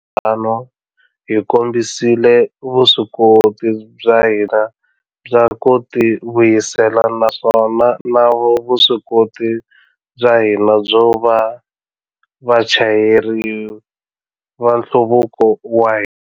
Tano, hi kombisile vuswikoti bya hina bya ku tivuyisela na vuswikoti bya hina byo va vachayeri va nhluvuko wa hina.